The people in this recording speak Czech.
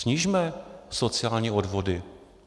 Snižme sociální odvody.